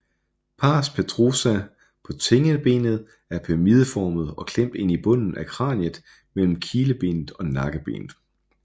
Pars petrosa på tindingebenet er pyramideformet og klemt ind i bunden af kraniet mellem kilebenet og nakkebenet